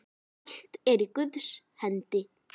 Allt er í Guðs hendi.